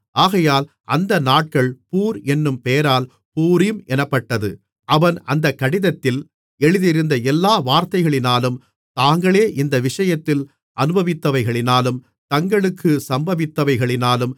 ஆகையால் அந்த நாட்கள் பூர் என்னும் பெயரால் பூரீம் என்னப்பட்டது அவன் அந்த கடிதத்தில் எழுதியிருந்த எல்லா வார்த்தைகளினாலும் தாங்களே இந்த விஷயத்தில் அனுபவித்தவைகளினாலும் தங்களுக்கு சம்பவித்தவைகளினாலும்